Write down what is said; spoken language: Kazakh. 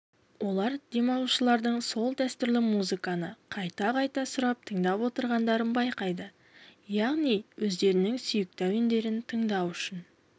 олар демалушылардың сол дәстүрлі музыканы қайта-қайта сұрап тыңдап отырғандарын байқайды яғни өздерінің сүйікті әуендерін тыңдау үшін